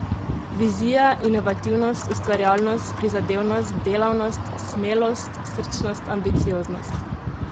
Vizija, inovativnost, ustvarjalnost, prizadevnost, delavnost, smelost, srčnost, ambicioznost...